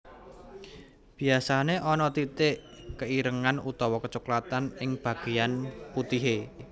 Biasané ana titik keirengan utawa kecoklatan ing bagéyan putihé